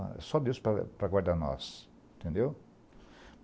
É só Deus para para guardar nós, entendeu?